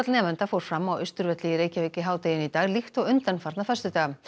nemenda fór fram á Austurvelli í Reykjavík í hádeginu í dag líkt og undanfarna föstudaga